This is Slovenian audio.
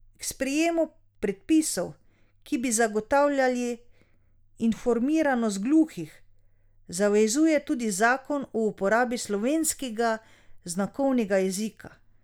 K sprejemu predpisov, ki bi zagotavljali informiranost gluhih, zavezuje tudi zakon o uporabi slovenskega znakovnega jezika.